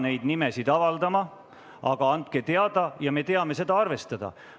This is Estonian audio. Te ei pea neid nimesid avaldama, aga andke teada ja me saame seda arvestada.